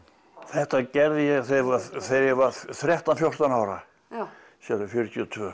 þetta gerði ég þegar ég þegar ég var þrettán fjórtán ára já sérðu fjörutíu og tvö